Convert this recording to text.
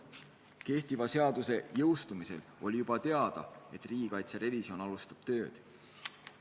Kehtiva seaduse jõustumisel oli juba teada, et käivitatakse riigikaitse revisjon.